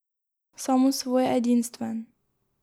Samosvoj, edinstven.